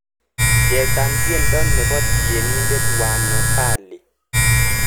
Chesan tyendo nebo tyenindet wanovali